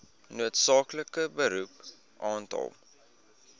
noodsaaklike beroep aantal